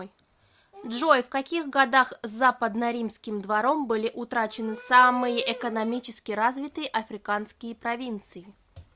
джой в каких годах западноримским двором были утрачены самые экономически развитые африканские провинции